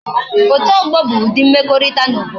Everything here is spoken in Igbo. Otu ogbo bu udi mwekorita na obodo